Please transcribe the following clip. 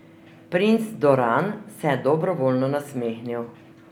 Princ Doran se je dobrovoljno nasmehnil.